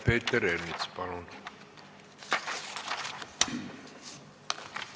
Peeter Ernits, palun!